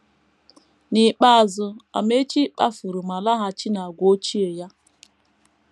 N’ikpeazụ, Amaechi kpafuru ma laghachi n’àgwà ochie ya.